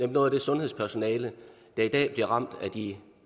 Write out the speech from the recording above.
noget af det sundhedspersonale der bliver ramt af de